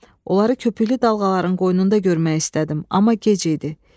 Onları köpüklü dalğaların qoynunda görmək istədim, amma gec idi.